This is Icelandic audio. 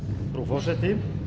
frú forseti